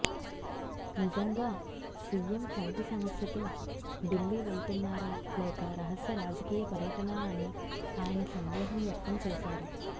నిజంగా సీఎం కంటి సమస్యతో ఢిల్లీ వెళ్తున్నారా లేక రహస్య రాజకీయ పర్యటనా అని ఆయన సందేహం వ్యక్తం చేశారు